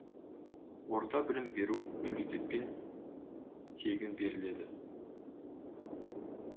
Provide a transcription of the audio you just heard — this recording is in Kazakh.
орта білім беру мемлекетпен тегін беріледі